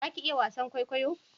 Za ki iya wasan kwaikwayo?